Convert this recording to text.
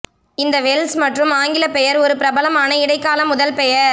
இந்த வெல்ஷ் மற்றும் ஆங்கில பெயர் ஒரு பிரபலமான இடைக்கால முதல் பெயர்